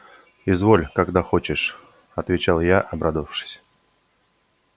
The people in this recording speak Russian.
изволь когда хочешь отвечал я обрадовавшись